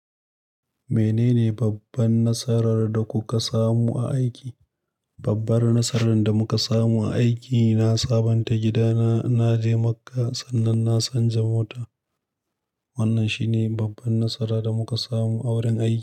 Menene babban nasarar da kuka samu a aiki? Babbar nasarar da muka samu a aiki na sabanta gidana naje makka sannan na sanja mota. Wannan shine babban nasara da muka samu a wurin aiki.